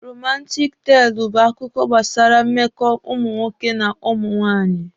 Romantik teelụ bụ akụkọ gbasara mmekọ ụmụ nwoke na ụmụ nwaanyị